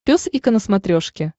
пес и ко на смотрешке